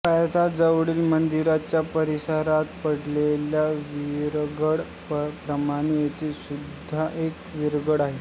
पायथ्याजवळील मंदिराच्या परिसरात पडलेल्या विरगळ प्रमाणे येथे सुद्धा एक विरगळ आहे